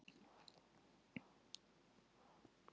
Jóhanna Margrét: Hvað er þá helst?